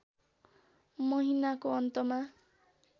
महिनाको अन्तमा